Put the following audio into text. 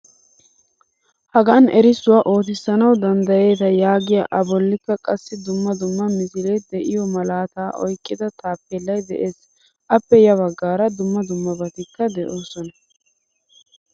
Hagaan erisswuaa oottisanawu danddayetta yaagiyaa a bollikka qassi dumma dumma misile deiyo malaata oyqqida tappellay de'ees. Appe ya baggaara dumma dummabatikka de'osona.